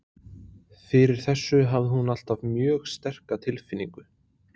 Fyrir þessu hafði hún alltaf mjög sterka tilfinningu.